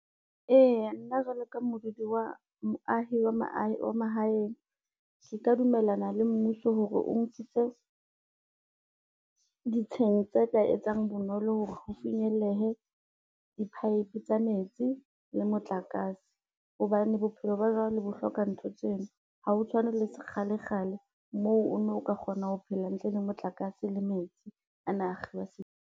Eya nna jwalo ka modudi wa moahi wa mahaheng. Re ka dumellana le mmuso hore o nkitse, ditsheng tse ka etsang bonolo ho re ho finyellehe di-pipe tsa metsi le motlakase hobane bophelo ba jwale bo hloka ntho tseno. Ha ho tshwane le kgalekgale moo o no o ka kgona ho phela ntle le motlakase le metsi ana a akgelwa.